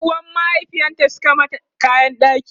Yan uwan mahaifiyarta Suka mata kayan ɗaki